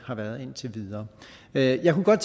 har været indtil videre jeg kunne godt